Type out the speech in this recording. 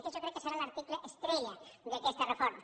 aquest jo crec que serà l’article estrella d’aquesta reforma